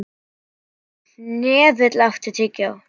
Hnefill, áttu tyggjó?